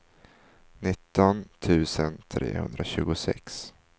nitton tusen trehundratjugosex